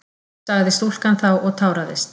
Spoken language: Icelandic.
sagði stúlkan þá og táraðist.